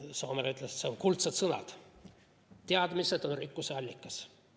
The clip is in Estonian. Soomere ütles, et need on kuldsed sõnad: teadmised on rikkuse allikas.